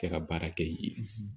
Kɛ ka baara kɛ yen